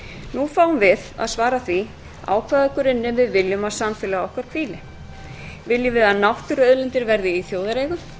nú fáum við að svara því á hvaða grunni við viljum að samfélag okkar hvíli viljum við að náttúruauðlindir verði í þjóðareigu